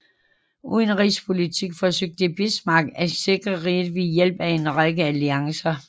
Udenrigspolitisk forsøgte Bismarck at sikre riget ved hjælp af en række alliancer